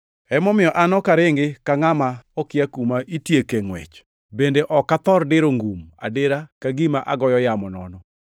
Emomiyo an ok aringi ka ngʼama okia kuma itieke ngʼwech, bende ok athor diro ngum adira ka gima agoyo yamo nono.